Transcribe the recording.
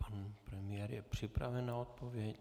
Pan premiér je připraven na odpověď.